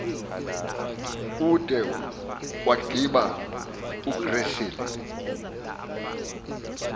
ude waggiba ugrissel